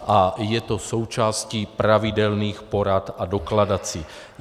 A je to součástí pravidelných porad a dokladací.